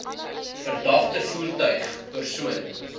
verdagte voertuig persoon